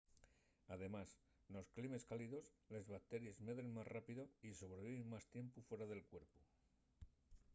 además nos climes cálidos les bacteries medren más rápido y sobreviven más tiempu fuera del cuerpu